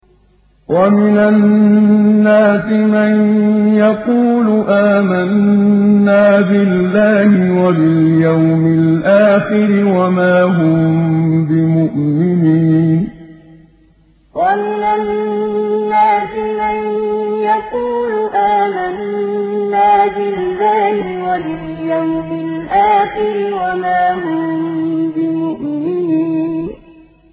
وَمِنَ النَّاسِ مَن يَقُولُ آمَنَّا بِاللَّهِ وَبِالْيَوْمِ الْآخِرِ وَمَا هُم بِمُؤْمِنِينَ وَمِنَ النَّاسِ مَن يَقُولُ آمَنَّا بِاللَّهِ وَبِالْيَوْمِ الْآخِرِ وَمَا هُم بِمُؤْمِنِينَ